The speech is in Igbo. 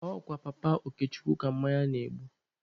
Ọ kwa Papa Okechukwu ka mmanya na-ebu.